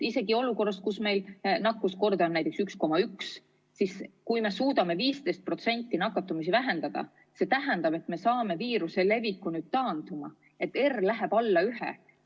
Olukorras, kus meie nakkuskordaja on näiteks 1,1 ja me suudame nakatumist 15% vähendada, tähendab see seda, et me saame viiruse taanduma panna ja R läheb alla ühe.